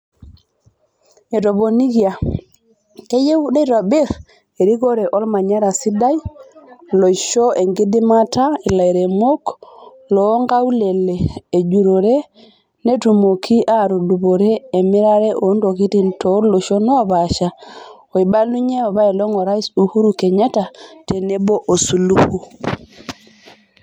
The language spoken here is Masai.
Etoponikia, "Keyieu neitobir erikore olmanyara sidai loisho enkidimata ilaremok loonkaulele ejurore netumoki aatudupore emirare oontokini tooloshon oopasha oibalunye apaelong Orais Uhuru Kenyatta tonebo o Suluhu."